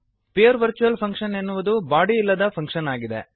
pure virtual function ಎನ್ನುವುದು body ಇಲ್ಲದ function ಆಗಿದೆ